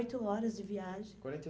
horas de viagem. Quarenta e